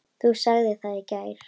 Þú sagðir það í gær.